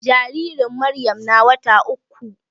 Jaririn Maryam na wata uku.